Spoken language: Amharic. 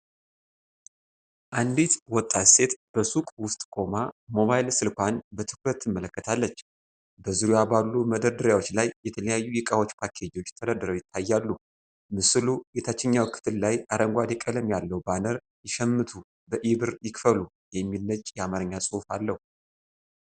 አንዲት ወጣት ሴት በሱቅ ውስጥ ቆማ ሞባይል ስልኳን በትኩረት ትመለከታለች። በዙሪያዋ ባሉ መደርደሪያዎች ላይ የተለያዩ የእቃዎች ፓኬጆች ተደርድረው ይታያሉ። ምስሉ የታችኛው ክፍል ላይ አረንጓዴ ቀለም ያለው ባነር “ይሸምቱ በኢ-ብር ይክፈሉ!” የሚል ነጭ የአማርኛ ጽሑፍ አለው።